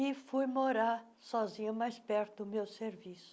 E fui morar sozinha mais perto do meu serviço.